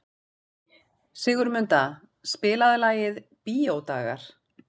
Sigurmunda, spilaðu lagið „Bíódagar“.